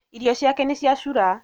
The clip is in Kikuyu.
Irio ciake nĩciacura